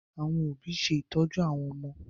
Àwọn òbí ṣe ìtọ́jú àwọn ọmọ